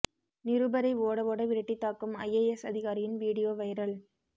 நிருபரை ஓட ஓட விரட்டி தாக்கும் ஐஏஎஸ் அதிகாரியின் வீடியோ வைரல்